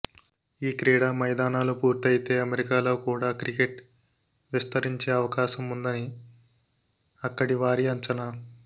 ఈ క్రీడా మైదానాలు పూర్తయితే అమెరికాలో కూడా క్రికెట్ విస్తరించే అవకాశం ఉందని అక్కడి వారి అంచనా